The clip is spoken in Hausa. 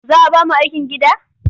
Za a ba mu aikin gida?